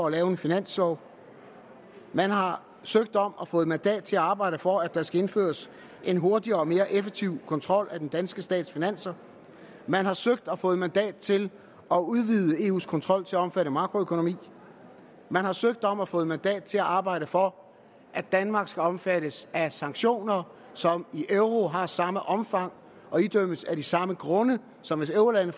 lave en finanslov man har søgt om og fået mandat til at arbejde for at der skal indføres en hurtigere og mere effektiv kontrol af den danske stats finanser man har søgt om og fået mandat til at udvide eus kontrol til at omfatte makroøkonomi man har søgt om og fået mandat til at arbejde for at danmark skal omfattes af sanktioner som i euro har samme omfang og idømmes af de samme grunde som hvis eurolande